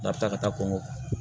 N'a bɛ taa ka taa kɔnkɔ